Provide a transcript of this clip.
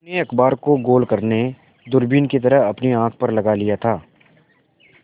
उन्होंने अखबार को गोल करने दूरबीन की तरह अपनी आँख पर लगा लिया था